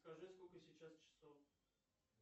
скажи сколько сейчас часов